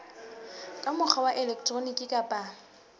ka mokgwa wa elektroniki kapa